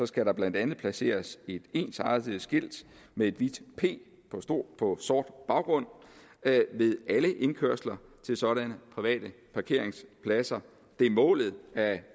skal der blandt andet placeres ensartede skilte med et hvidt p på sort baggrund ved alle indkørsler til sådanne private parkeringspladser det er målet at